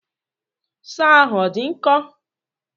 Soọ ahụ ọ dị nkọ?